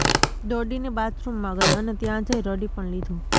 દોડીને બાથરૂમ માં ગઈ અને ત્યાં જઈ રડી પણ લીધું